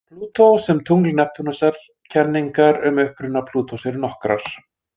Plútó sem tungl Neptúnusar Kenningar um uppruna Plútós eru nokkrar.